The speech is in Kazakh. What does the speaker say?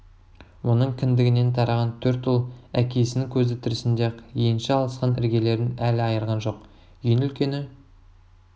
оның кіндігінен тараған төрт ұл әкесінің көзі тірісінде-ақ енші алысқан іргелерін әлі айырған жоқ ең үлкені